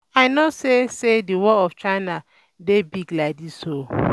I no know say say the wall of China dey big like dis oo